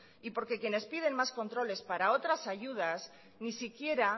porque quienes piden más controles para otras ayudas ni siquiera